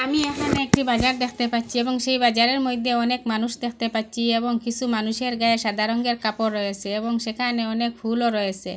আমি এখানে একটি বাজার দেখতে পাচ্ছি এবং সেই বাজারের মইদ্যে অনেক মানুষ দেখতে পাচ্ছি এবং কিসু মানুষের গায়ে সাদা রঙের কাপড় রয়েসে এবং সেখানে অনেক ফুলও রয়েসে।